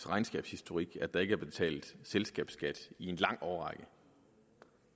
regnskabshistorik at der ikke er blevet betalt selskabsskat i en lang årrække